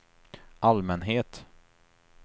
allmänhet